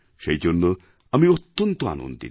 সেই জন্য আমি অত্যন্ত আনন্দিত